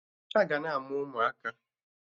Aga na-amụ ụmụaka